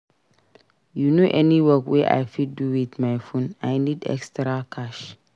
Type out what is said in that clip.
You know any work wey I fit do wit my phone? I need extra cash.